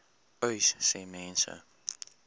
uys sê mense